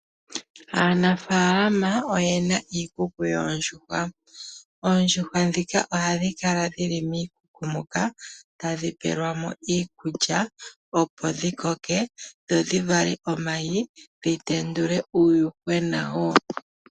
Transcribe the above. Aanafalama oyena iikuku yoondjuhwa. Oondjuhwa ohadhi kala dhili miikuku moka, tadhi peelwamo iikulya opo dhi koke dho dhi vale omayi dhi tendule uuyuhwena woo.